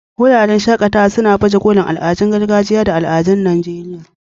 Wuraren shaƙatawa suna baje kolin al'adun gargajiya da al'adun Najeriya.